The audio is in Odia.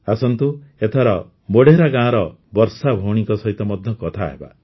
ଆସନ୍ତୁ ଏଥର ମୋଢେରା ଗାଁର ବର୍ଷା ଭଉଣୀଙ୍କ ସହିତ ମଧ୍ୟ କଥାହେବା